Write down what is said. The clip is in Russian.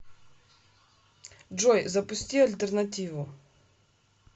джой запусти альтернативу